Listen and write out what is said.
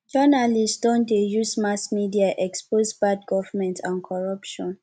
journalists don dey use mass media expose bad government and corruption